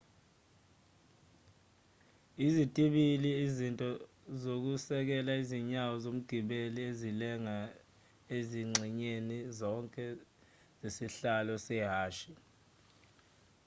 izitibili izinto zokusekela izinyawo zomgibeli ezilenga ezingxenyeni zonke zesihlalo sehhashi